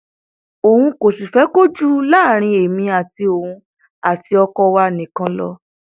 òun kò sì fẹ kó jù láàrin èmi àti òun àti ọkọ wa nìkan lọ